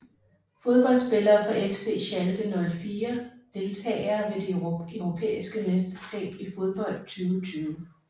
Fodboldspillere fra FC Schalke 04 Deltagere ved det europæiske mesterskab i fodbold 2020